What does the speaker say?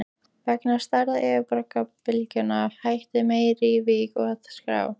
Vegna stærðar yfirborðsbylgnanna hætti mælirinn í Vík að skrá.